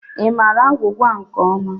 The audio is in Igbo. Ị maara agwụgwa nke ọma?